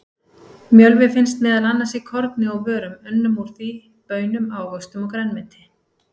Mjölvi finnst meðal annars í korni og vörum unnum úr því, baunum, ávöxtum og grænmeti.